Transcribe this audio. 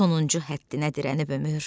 Sonuncu həddinə dirənib ömür.